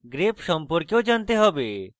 grep সম্পর্কেও জানতে হবে